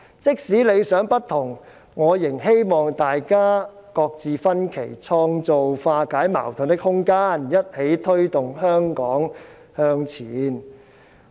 即使理想不同，我仍希望大家擱置分歧，創造化解矛盾的空間，一起推動香港向前。